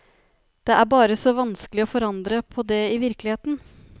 Det er bare så vanskelig å forandre på det i virkeligheten.